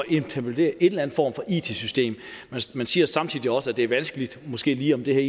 implementere en eller anden form for it system man siger samtidig også at det er vanskeligt at sige om det her